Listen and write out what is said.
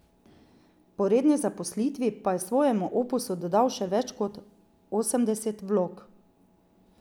Po redni zaposlitvi pa je svojemu opusu dodal še več kot osemdeset vlog.